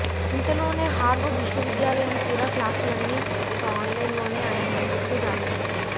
ఇంతలోనే హార్వార్డ్ విశ్వవిద్యాలయం కూడా క్లాసులన్నీ ఇక ఆన్ లైన్ లోనే అనే నోటీసును జారీ చేసింది